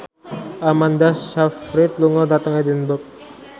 Amanda Sayfried lunga dhateng Edinburgh